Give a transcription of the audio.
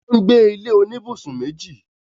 wọ́n gbé ilé oníbùsùn méjì.